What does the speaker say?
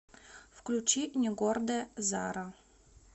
включи негордая зара